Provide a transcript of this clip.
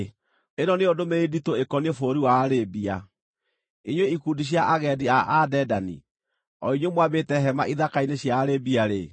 Ĩno nĩyo ndũmĩrĩri nditũ ĩkoniĩ bũrũri wa Arabia: Inyuĩ ikundi cia agendi a Adedani, o inyuĩ mwambĩte hema ithaka-inĩ cia Arabia-rĩ,